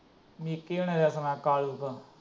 ਨਿੱਕੀ ਹਣਾ ਦਾ ਸੁਣਾ ਦਾ।